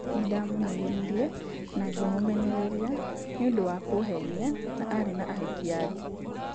Nindamũnegenirie na ngimumenereria ni ũndũwa kũhenia na ni arĩ na ahiki angi.